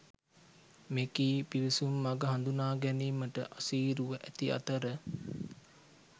මෙකී පිවිසුම් මග හඳුනාගැනීමට අසීරුව ඇති අතර